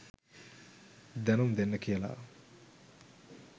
දැනුම් දෙන්න කියලා.